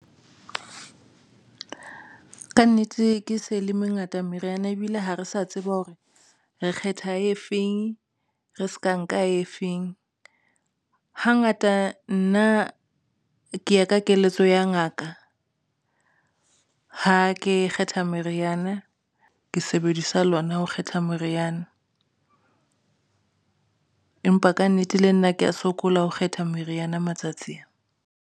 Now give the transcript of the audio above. Ka nnete ke se e le mengata meriana ebile ha re sa tseba hore re kgetha e feng, re se ka nka efeng hangata nna ke ye ka keletso ya ngaka. Ha ke kgetha meriana ke sebedisa lona ho kgetha moriana, empa kannete le nna, ke ya sokola. Ho kgetha meriana matsatsi ana.